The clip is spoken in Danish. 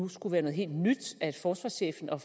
nu skulle være noget helt nyt at forsvarschefen og